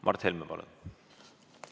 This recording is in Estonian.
Mart Helme, palun!